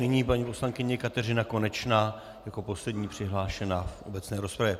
Nyní paní poslankyně Kateřina Konečná jako poslední přihlášená v obecné rozpravě.